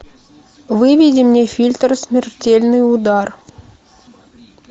выведи мне фильтр смертельный удар